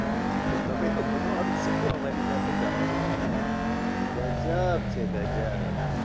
તો તમે લોકો નો આવી શકો અમારી સાથે drama જોવા ગજબ છે ગજબ